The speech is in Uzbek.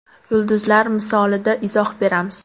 Yulduzlar misolida izoh beramiz .